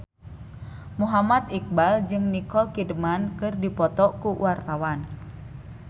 Muhammad Iqbal jeung Nicole Kidman keur dipoto ku wartawan